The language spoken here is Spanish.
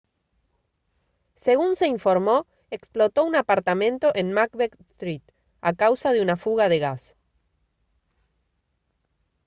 según se informó explotó un apartamento en macbeth street a causa de una fuga de gas